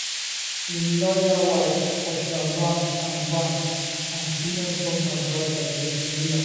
im lawyer wife usha vance and vance and senior trump adviser jason miller